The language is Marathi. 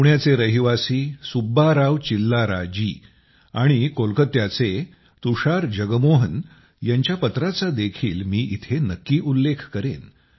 पुण्याचे रहिवासी सुब्बा राव चिल्लाराजी आणि कोलकात्याचे तुषार जगमोहन यांच्या पत्राचा देखील मी इथे नक्की उल्लेख करेन